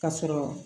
Ka sɔrɔ